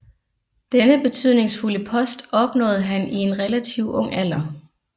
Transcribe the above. Denne betydningsfulde post opnåede han i en relativt ung alder